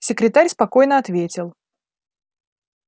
секретарь спокойно ответил